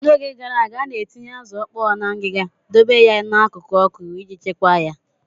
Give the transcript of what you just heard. N'oge gara aga, a na-etinye azụ ọkpọọ na ngiga, dobe ya n'akụkụ ọkụ iji chekwaa ya.